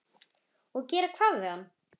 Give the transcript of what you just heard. Og gera hvað við hann?